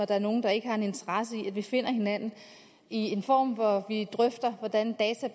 der er nogen der ikke har en interesse i at vi finder hinanden i en form hvor vi drøfter hvordan data